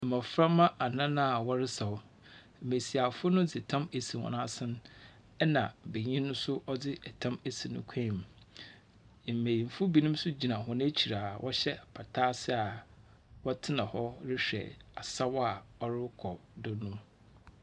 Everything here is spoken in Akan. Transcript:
Mmɔframma anan a wɔresaw, mmesiafo no de tam esi hɔn asene ɛna benyin no nso ɔde ɛtam esi ne kwamu. Mmenyimfo binom nso gyina hɔn ekyir a wɔhyɛ apata ase a wɔtena hɔ rehwɛ asaw a ɔrekɔ do no.